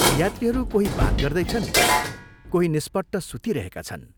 यात्रीहरू कोही बात गर्दैछन्, कोही निष्पट्ट सुतिरहेका छन्।